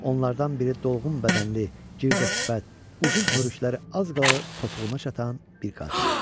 Onlardan biri dolğun bədənli, girdə sifət, uzun hörükləri az qala topuğuna çatan bir qadın idi.